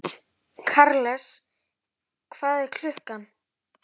Karles, hvað er klukkan?